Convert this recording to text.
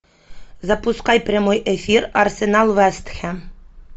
запускай прямой эфир арсенал вест хэм